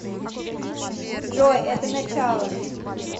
джой это начало